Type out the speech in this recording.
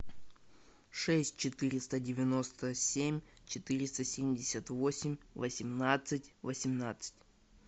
шесть четыреста девяносто семь четыреста семьдесят восемь восемнадцать восемнадцать